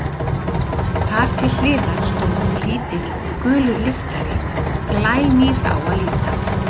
Þar til hliðar stóð lítill, gulur lyftari, glænýr á að líta.